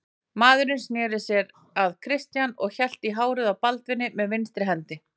Maðurinn sneri sér að Christian og hélt í hárið á Baldvini með vinstri hendi.